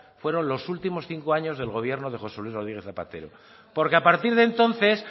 fueron los últimos cinco años del gobierno de josé luis rodríguez zapatero porque a partir de entonces